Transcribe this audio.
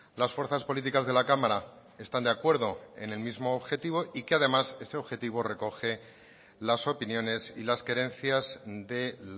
las fuerzas políticas de la cámara están de acuerdo en el mismo objetivo y que además ese objetivo recoge las opiniones y las querencias de